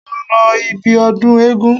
Mo lọ ibi ọdún eégún.